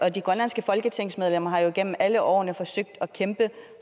og de grønlandske folketingsmedlemmer har jo igennem alle årene forsøgt at kæmpe